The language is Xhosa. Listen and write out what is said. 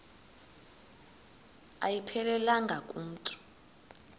ayiphelelanga ku mntu